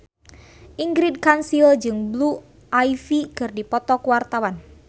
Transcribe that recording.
Ingrid Kansil jeung Blue Ivy keur dipoto ku wartawan